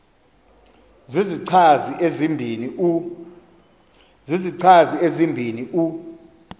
zizichazi ezibini u